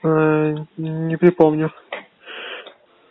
не припомню